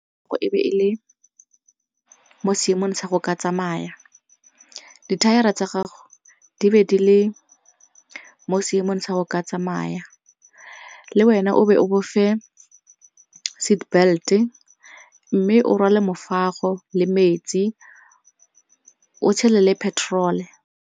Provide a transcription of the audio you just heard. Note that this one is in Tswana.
E be e le mo seemong sa go ka tsamaya, dithaere tsa gago di be di le mo seemong sa go ka tsamaya le wena o be o bofe seat belt-e mme o rwale mofago le metsi o tshele le petrol.